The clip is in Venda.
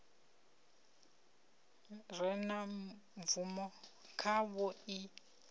re na bvumo khavho i